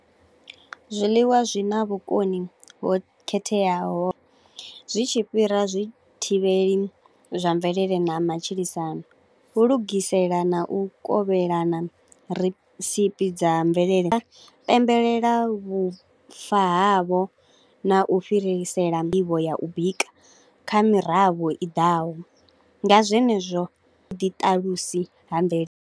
Zwiḽiwa zwi na vhukoni ho khetheaho, zwi tshi fhira zwi thivheli zwa mvelele na matshilisano, hu u lugisela na u kovhelana recipe dza mvelele. Pembelela vhufa havho na u fhirisela nḓivho ya u bika kha mirafho i daho, nga zwenezwo ḓi ṱalusa ha mvelele.